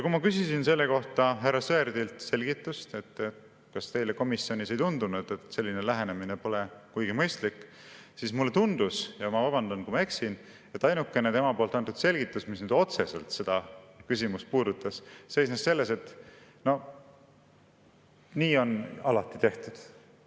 Kui ma küsisin selle kohta härra Sõerdilt selgitust, kas neile komisjonis ei tundunud, et selline lähenemine pole kuigi mõistlik, siis mulle tundus – ja ma vabandan, kui ma eksin –, et ainukene tema antud selgitus, mis otseselt seda küsimust puudutas, seisnes selles, et nii on alati tehtud.